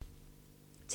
TV 2